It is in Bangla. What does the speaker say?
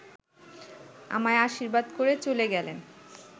আমায় আশীর্বাদ করে চলে গেলেন